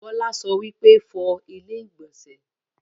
Bọ́lá sọ wípé, 'Fọ ilẹ́ ìgbọ̀nsẹ̀'